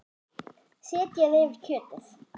Setjið yfir kjötið.